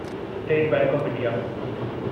state Bank of India